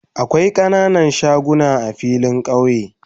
Akwai kananan shagunan a filin kauye